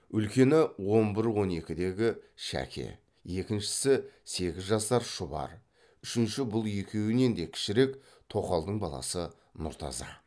үлкені он бір он екідегі шәке екіншісі сегіз жасар шұбар үшінші бұл екеуінен де кішірек тоқалдың баласы нұртаза